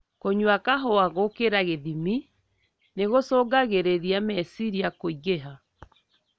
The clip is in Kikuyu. Kũnyua kahua gũkĩra gĩthimi nĩ gũcungagĩriria meciria kũigĩha.